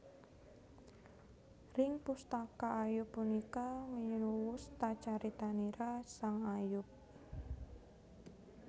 Ring pustaka Ayub punika winuwus ta caritanira sang Ayub